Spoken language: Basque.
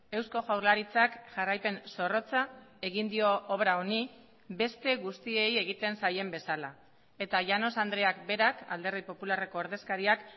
eusko jaurlaritzak jarraipen zorrotza egin dio obra honi beste guztiei egiten zaien bezala eta llanos andreak berak alderdi popularreko ordezkariak